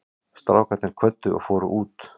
Strákarnir kvöddu og fóru út.